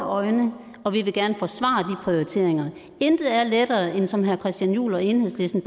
øjne og vi vil gerne forsvare de prioriteringer intet er lettere end det som herre christian juhl og enhedslisten